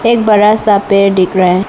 एक बड़ा सा पेड़ दिख रहा है।